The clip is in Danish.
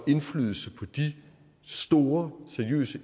indflydelse på de store seriøse